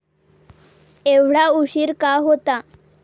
एवढा उशीर का होता.